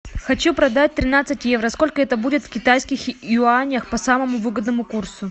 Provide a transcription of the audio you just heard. хочу продать тринадцать евро сколько это будет в китайских юанях по самому выгодному курсу